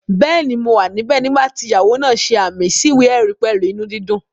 Bẹ́ẹ̀ni, mo wà níbẹ̀ nígbà tí ìyàwó náà ṣe ààmì sí ìwé-ẹ̀rí pẹ̀lú inú dídùn